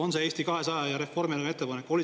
On see Eesti 200 ja Reformierakonna ettepanek?